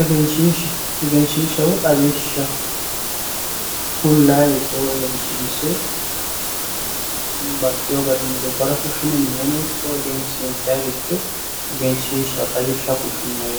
Egenshishsha woyi xawishsha kulaniricho woyi egensiinse baxxino garinni gobbara fushine minenno ikko egensiinsanniricho egenshishsha woyi xawishsha fushinoni